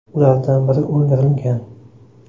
Ulardan biri o‘ldirilgan.